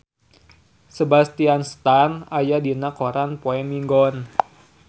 Sebastian Stan aya dina koran poe Minggon